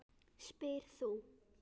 spyrð þú.